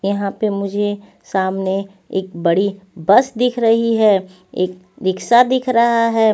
यहां पे मुझे सामने एक बड़ी बस दिख रही है एक रिक्शा दिख रहा है.